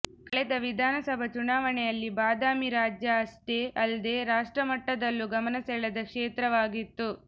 ಕಳೆದ ವಿಧಾನಸಭಾ ಚುನಾವಣೆಯಲ್ಲಿ ಬಾದಾಮಿ ರಾಜ್ಯ ಅಷ್ಟೇ ಅಲ್ದೆ ರಾಷ್ಟ್ರಮಟ್ಟದಲ್ಲೂ ಗಮನ ಸೆಳೆದ ಕ್ಷೇತ್ರ ವಾಗಿತ್ತು